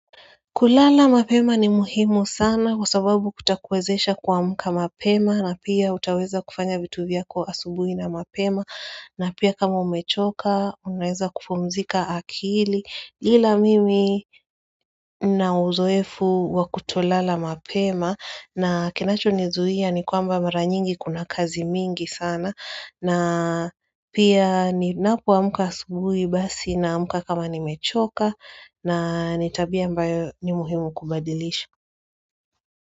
Kulala mapema ni muhimu sana kwa sababu kutakuwezesha kua mka mapema na pia utaweza kufanya vitu vyako asubui na mapema na pia kama umechoka unaweza kupumzika akili ila mimi na uzoefu wa kutolala mapema na kinacho nizuia ni kwamba maranyingi kuna kazi mingi sana na pia ni napo amka asubui basi naamka kama ni mechoka na nitabia ambayo ni muhimu kubadilisha.